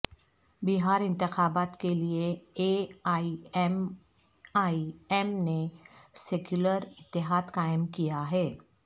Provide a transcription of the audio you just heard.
بہار انتخابات کے لئے A I M I M نے سکیولر اتحاد قائم کیاہے